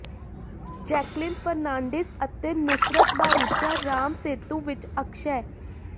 Jacqueline Fernandez ਅਤੇ ਨੁਸਰਤ ਭਾਰੂਚਾ ਰਾਮ ਸੇਤੂ ਵਿੱਚ ਅਕਸ਼ੈ